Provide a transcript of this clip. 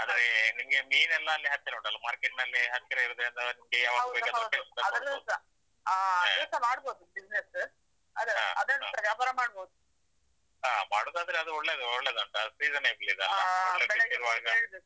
ಹಾ ಆದ್ರೆ ನಿಮ್ಗೆ ಮೀನೆಲ್ಲಾ ಅಲ್ಲಿ ಹತ್ತಿರ ಉಂಟಲ್ಲಾ, market ನಲ್ಲಿ ಹತ್ತಿರ ಇರುದ್ರಿಂದ ನಿಮ್ಗೆ ಯಾವಾಗ ಬೇಕಾದ್ರು fresh ತಗೋಳ್ಬಹುದು ಹಾ ಮಾಡುದಾದ್ರೆ ಅದು ಒಳ್ಳೇದು ಒಳ್ಳೇದು ಉಂಟು, ಅದು season